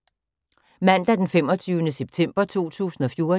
Mandag d. 22. september 2014